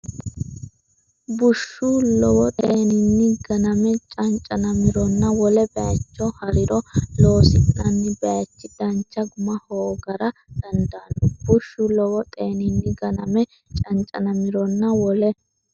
Bushshu lowo xeeninni ganame cancanamironna wole bayicho ha’riro loosi’nanni bayichi dancha guma hoogara dandaanno Bushshu lowo xeeninni ganame cancanamironna wole.